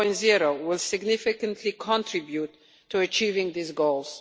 2.0 will significantly contribute to achieving these goals.